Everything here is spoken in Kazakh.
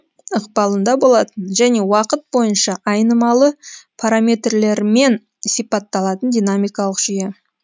ықпалында болатын және уақыт бойынша айнымалы параметрлермен сипатталатын динамикалық жүйе